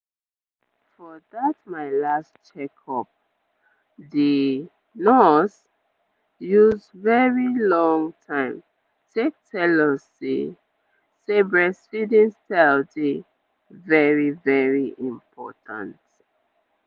ehn for that my last check-up the nurse use very long time take tell us say say breastfeeding style dey very very important.